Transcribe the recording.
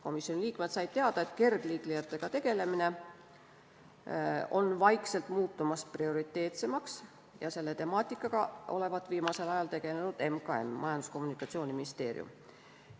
Komisjoni liikmed said teada, et kergliiklejatega tegelemine on muutunud prioriteetsemaks ja selle temaatikaga olevat viimasel ajal tegelenud Majandus- ja Kommunikatsiooniministeerium.